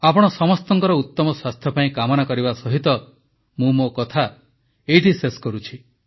ଆପଣ ସମସ୍ତଙ୍କର ଉତମ ସ୍ୱାସ୍ଥ୍ୟ ପାଇଁ କାମନା କରିବା ସହିତ ମୁଁ ମୋ କଥା ଶେଷ କରୁଛି